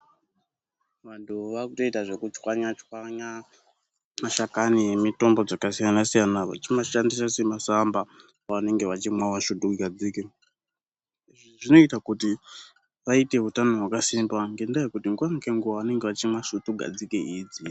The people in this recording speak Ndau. Vantu vakutoita zvekuchwanya chwanya mashakani emitombo dzakasiyana-siyana vechimashandisa semasamba pavanenge vachimwawo svutugadzike, zvinoita kuti vaite utano hwakasimba ngekuti nguwa ngenguwa vanenge vachimwa svutugadzike idzi.